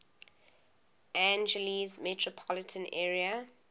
angeles metropolitan area